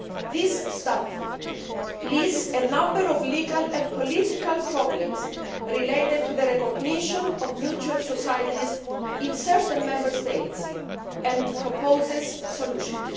This study lists a number of legal and political problems relating to the recognition of mutual societies in certain Member States, and proposes solutions.